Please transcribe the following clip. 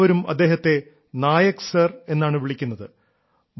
പക്ഷേ എല്ലാവരും അദ്ദേഹത്തെ നായക് സർ എന്നാണ് വിളിക്കുന്നത്